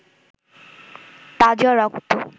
তাজা রক্ত